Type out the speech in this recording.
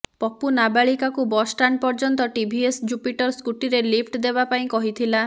ପପୁ ନାବାଳିକାକୁ ବସଷ୍ଟାଣ୍ଡ ପର୍ଯ୍ୟନ୍ତ ଟିଭିସ୍ ଜୁପିଟର ସ୍କୁଟିରେ ଲିଫ୍ଟ ଦେବାପାଇଁ କହିଥିଲା